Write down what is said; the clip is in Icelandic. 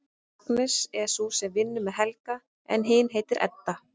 Agnes er sú sem vinnur með Helga en hin heitir Edda.